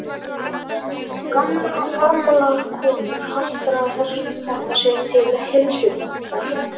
Gamlar og farlama konur haltra þetta sér til heilsubótar.